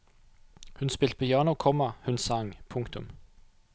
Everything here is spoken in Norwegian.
Hun spilte piano, komma hun sang. punktum